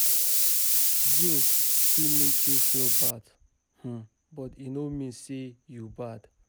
Guilt fit mek yu feel bad, um but e no mean say yu bad